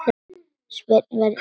Svenni verður smiður.